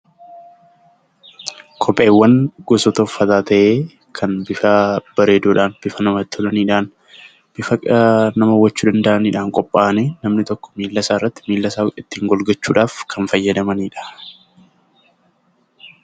Kopheewwan gosoota uffataa ta'ee kan irraa bareeduudhaan bifa namatti tolaadhaan bifa nama hawwachuu danda'aniin qophaa'anii namni tokko miilasaa ittiin eeggachuuf kan fayyadamanidha.